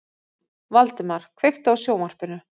Valdemar, kveiktu á sjónvarpinu.